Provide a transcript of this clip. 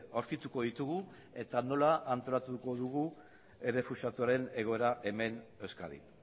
aurkituko ditugu eta nola antolatuko dugu errefuxiatuen egoera hemen euskadin